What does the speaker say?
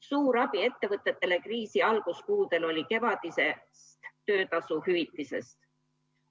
Suur abi ettevõtetele kriisi alguskuudel oli kevadisest töötasu hüvitisest.